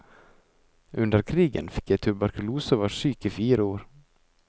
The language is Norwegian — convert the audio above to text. Under krigen fikk jeg tuberkulose og var syk i fire år.